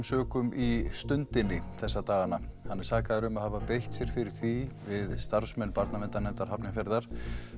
sökum í Stundinni þessa dagana hann er sakaður um að hafa beitt sér fyrir því við starfsmenn barnaverndarnefndar Hafnarfjarðar